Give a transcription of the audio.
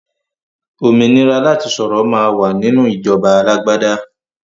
Òmìnira láti sọ̀rọ̀ máa wà nínú ìjọba alágbàdá